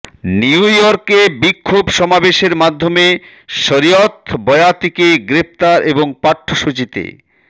নিউইয়র্কে বিক্ষোভ সমাবেশের মাধ্যমে শরিয়ত বয়াতিকে গ্রেপ্তার এবং পাঠ্যসূচিতে